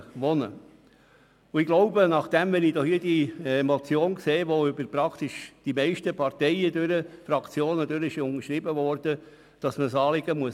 Angesichts der breiten Unterstützung durch die meisten Parteien denke ich auch, dass man das Anliegen ernst nehmen muss.